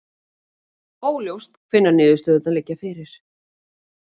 Óljóst hvenær niðurstöðurnar liggja fyrir